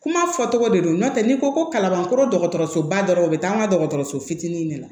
Kuma fɔ tɔgɔ de don n'o tɛ n'i ko ko kalabankɔrɔ dɔgɔtɔrɔsoba dɔrɔn u bɛ taa an ka dɔgɔtɔrɔso fitinin de la